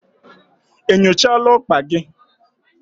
Enyochala okpa gi?